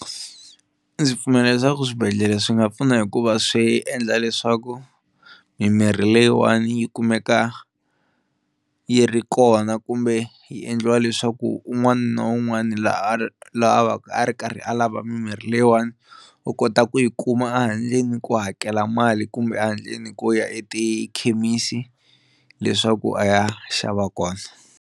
Ndzi pfumela leswaku swibedhlele swi nga pfuna hikuva swi endla leswaku mimirhi leyiwani yi kumeka yi ri kona kumbe yi endliwa leswaku un'wana na un'wana n'wana la a vaku a ri karhi a lava mimirhi leyiwani u kota ku yi kuma a handleni ku hakela mali kumbe a handleni ko ya etikhemisi leswaku a ya xava kona.